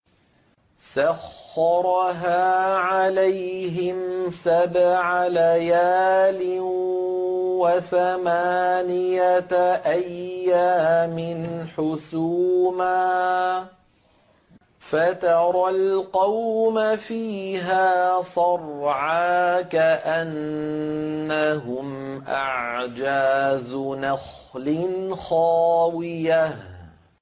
سَخَّرَهَا عَلَيْهِمْ سَبْعَ لَيَالٍ وَثَمَانِيَةَ أَيَّامٍ حُسُومًا فَتَرَى الْقَوْمَ فِيهَا صَرْعَىٰ كَأَنَّهُمْ أَعْجَازُ نَخْلٍ خَاوِيَةٍ